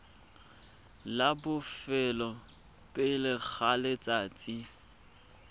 la bofelo pele ga letsatsi